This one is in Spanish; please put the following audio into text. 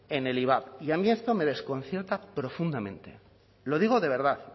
en el ivap y a mí esto me desconcierta profundamente lo digo de verdad